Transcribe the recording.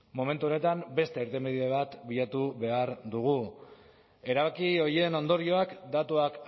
momentu honetan beste irtenbide bat bilatu behar dugu erabaki horien ondorioak datuak